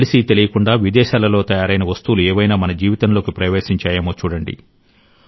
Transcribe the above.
తెలిసీ తెలియకుండా విదేశాలలో తయారైన వస్తువులు ఏవైనా మన జీవితంలోకి ప్రవేశించాయేమో చూడండి